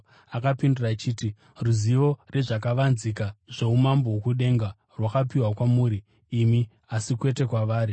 Akapindura achiti, “Ruzivo rwezvakavanzika zvoumambo hwokudenga rwakapiwa kwamuri imi, asi kwete kwavari.